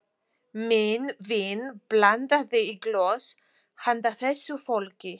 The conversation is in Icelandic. Minn vin blandaði í glös handa þessu fólki.